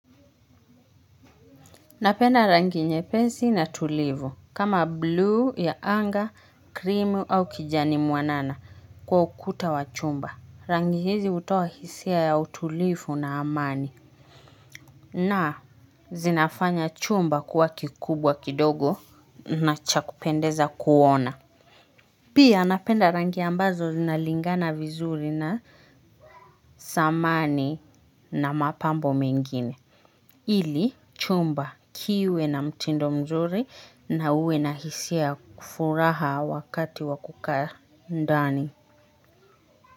Napenda rangi nyepesi na tulivu kama bluu ya anga, krimu au kijani mwanana kwa ukuta wa chumba. Rangi hizi hutoa hisia ya utulivu na amani. Na, zinafanya chumba kuwa kikubwa kidogo na cha kupendeza kuona. Pia napenda rangi ambazo zinalingana vizuri na samani na mapambo mengine. Ili chumba kiwe na mtindo mzuri na uwe na hisia ya furaha wakati wa kukaa ndani.